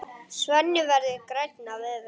Svenni verður grænn af öfund.